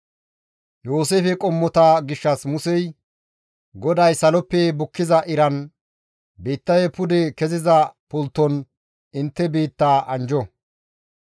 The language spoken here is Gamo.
Yooseefe qommota gishshas Musey, «GODAY saloppe bukkiza iran, biittafe pude keziza pultton intte biittaa anjjo.